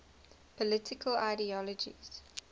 political ideologies